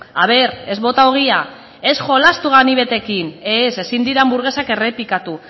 a ber ez bota ogia ez jolastu ganibetekin ez ezin dira hanburgesak errepikatu